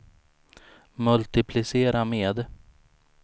multiplicera med